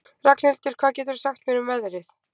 Ragnhildur, hvað geturðu sagt mér um veðrið?